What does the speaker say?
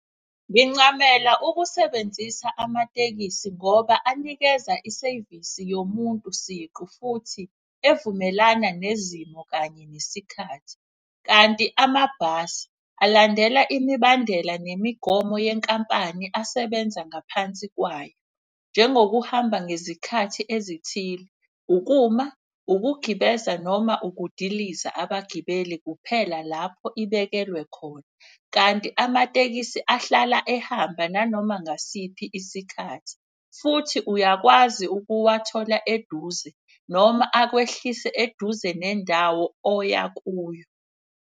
Ngincamela ukusebenzisa amatekisi ngoba anikeza isevisi yomuntu siqu futhi evumelana nezimo kanye nesikhathi. Kanti amabhasi abalandela imibandela nemigomo yenkampani asebenza ngaphansi kwayo. Njengokuhamba ngezikhathi ezithile, ukuma, ukugibeza noma ukudiliza abagibeli kuphela lapho ibekelwe khona. Kanti amatekisi ahlala ehamba nanoma ngasiphi isikhathi, futhi uyakwazi ukuwathola eduze noma akwehlise eduze nendawo oya kuyo.